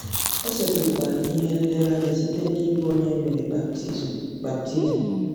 O setịpụkwara ihe nlereanya site n'ịbụ onye e mere baptizim baptizim.